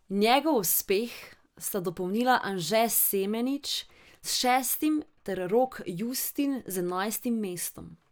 Njegov uspeh sta dopolnila Anže Semenič s šestim ter Rok Justin z enajstim mestom.